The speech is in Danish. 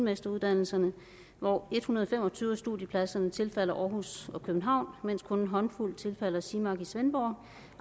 ministerens holdning hvor en hundrede og fem og tyve af studiepladserne tilfalder aarhus og københavn mens kun en håndfuld tilfalder simac i svendborg